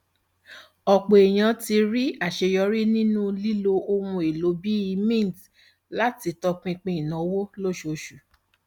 ọpọ èèyàn ti rí àṣeyọrí nínú lílo ohun èlò bíi mint láti tọpinpin ìnáwó lóṣooṣù